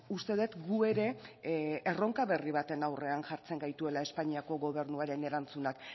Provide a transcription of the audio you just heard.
uste dut gu ere erronka berri baten aurrean jartzen gaituela espainiako gobernuaren erantzunak